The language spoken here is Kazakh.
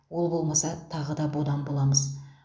ол болмаса тағы да бодан боламыз